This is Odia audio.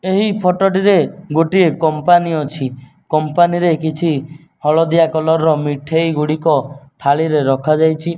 ଏହି ଫୋଟ ଟିରେ ଗୋଟିଏ କମ୍ପାନୀ ଅଛି କମ୍ପାନୀ ରେ କିଛି ହଳଦିଆ କଲର ର ମିଠେଇ ଗୁଡିକ ଥାଳିରେ ରଖାଯାଇଛି।